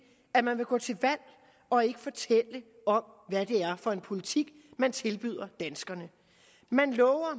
at man vil gå til valg og ikke fortælle om hvad det er for en politik man tilbyder danskerne man lover